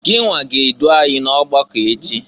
Ginwa ga-edụ anyị n'ọgbakọ echi!